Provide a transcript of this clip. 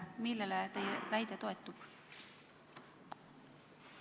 Millele teie väide toetub?